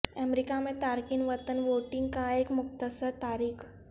امریکہ میں تارکین وطن ووٹنگ کا ایک مختصر تاریخ